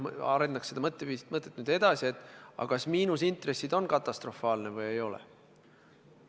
Ma arendaks seda mõtet edasi ja küsiks, kas miinusintressid on katastrofaalne olukord või ei ole.